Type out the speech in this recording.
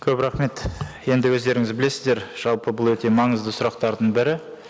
көп рахмет енді өздеріңіз білесіздер жалпы бұл өте маңызды сұрақтардың бірі